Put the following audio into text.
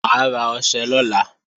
Mà á ra ọṣẹ lọ́la